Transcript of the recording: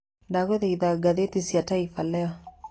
ndagũthaitha ngathĩti cia taifa leo